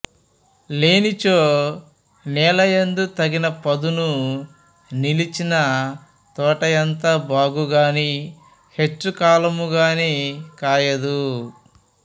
లేనిచో నేలయందు తగిన పదును నిలచిన తోటయంత బాగుగగాని హెచ్చు కాలముగాని కాయదు